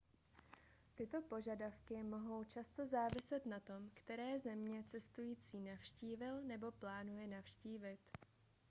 tyto požadavky mohou často záviset na tom které země cestující navštívil nebo plánuje navštívit